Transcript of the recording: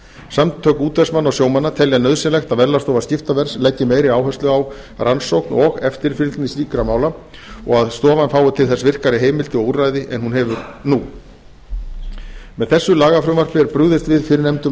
samtök útvegsmanna og sjómanna telja nauðsynlegt að verðlagsstofa skiptaverðs leggi meiri áherslu á rannsókn og eftirfylgni slíkra mála og að stofan fái til þess virkari heimildir og úrræði en hún hefur nú með þessu lagafrumvarpi er brugðist við fyrrnefndum